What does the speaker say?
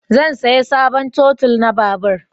Zan saya sabon totul na babur